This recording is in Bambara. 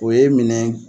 O ye minɛ